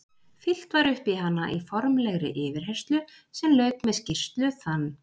Fyllt var upp í hana í formlegri yfirheyrslu sem lauk með skýrslu þann